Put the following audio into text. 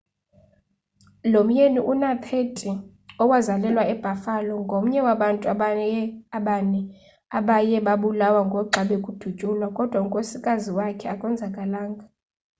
lo myeni una-30 owazalelwa ebuffalo ngomnye wabantu abane abaye babulawo ngoxa bekudutyulwa kodwa unkosikazi wakhe akonzakalanga